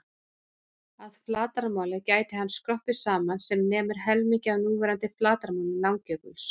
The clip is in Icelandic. Að flatarmáli gæti hann skroppið saman sem nemur helmingi af núverandi flatarmáli Langjökuls.